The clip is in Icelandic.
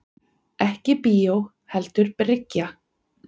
Ekki bíó heldur bryggja.